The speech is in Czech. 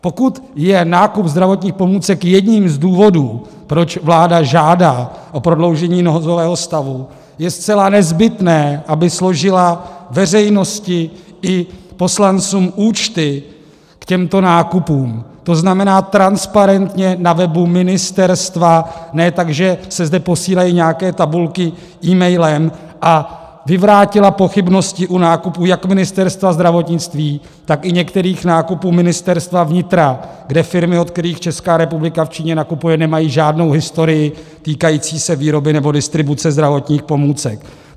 Pokud je nákup zdravotních pomůcek jedním z důvodů, proč vláda žádá o prodloužení nouzového stavu, je zcela nezbytné, aby složila veřejnosti i poslancům účty k těmto nákupům, to znamená transparentně na webu ministerstva, ne tak, že se zde posílají nějaké tabulky e-mailem, a vyvrátila pochybnosti o nákupu jak Ministerstva zdravotnictví, tak některých nákupů Ministerstva vnitra, kde firmy, od kterých Česká republika v Číně nakupuje, nemají žádnou historii týkající se výroby nebo distribuce zdravotních pomůcek.